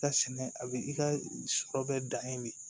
Ka sɛnɛ a bɛ i ka sɔrɔ bɛ dan yen de